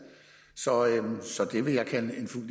så det vil jeg kalde en fuld